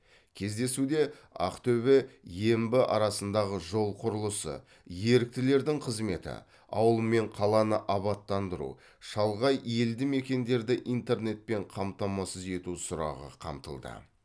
кездесуде ақтөбе ембі арасындағы жол құрылысы еріктілердің қызметі ауыл мен қаланы абаттандыру шалғай елдімекендерді интернетпен қамтамасыз ету сұрағы қамтылды